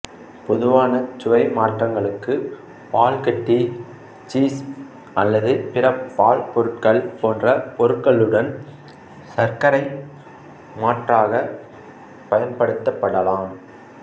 பொதுவானச் சுவை மாற்றங்களுக்கு பால்கட்டி சீஸ் அல்லது பிற பால்பொருட்கள் போன்ற பொருளுடன் சர்க்கரை மாற்றாக பயன்படுத்தப்படலாம்